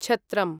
छत्रम्